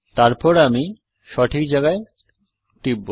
তারপর আমি সঠিক জায়গায় টিপব